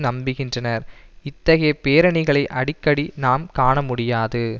நம்புகின்றனர் இத்தகைய பேரணிகளை அடிக்கடி நாம் காண முடியாது